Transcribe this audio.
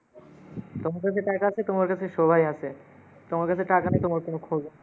তোমার কাসে টাকা আসে, তোমার কাসে সবাই আসে। তোমার কাসে টাকা নেই, তোমার কোনো খোঁজও নেই।